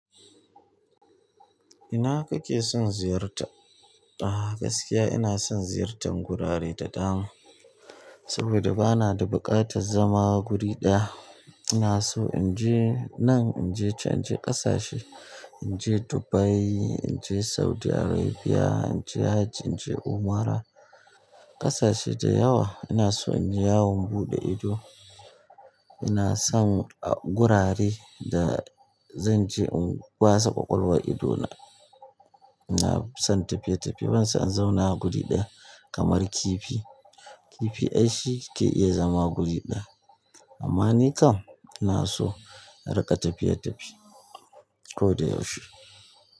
Ina kake son ziyarta? A gaskiya ina son ziyartar gurare da dama saboda ba na da buƙatar zama guri ɗaya. Ina so in je nan, in je can, in je ƙasashe, in je Dubai, in je Saudi Arabia, in je hajji, in je umra, ƙasashe da yawa. Ina so in yi yawon buɗe ido. Ina son gurare da zan je in wasa ƙwaƙwalwar idona. Ina son tafiye-tafiye, ban so in zauna a guri ɗaya kamar kifi. Kifi ai shi ke iya zama guri ɗaya, amma ni kam ina so na riƙa tafiye-tafiye ko da yaushe.